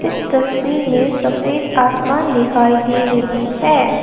इस तस्वीर में सफेद आसमान दिखाई दे रही है।